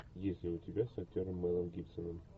есть ли у тебя с актером мэлом гибсоном